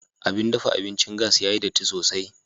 Abin dafa abincin gas ya yi datti sosai.